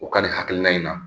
U ka nin hakilina in na